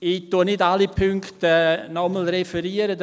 Ich referiere nicht noch einmal alle Punkte;